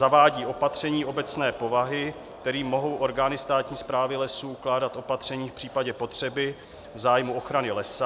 zavádí opatření obecné povahy, kterými mohou orgány státní správy lesů ukládat opatření v případě potřeby v zájmu ochrany lesa;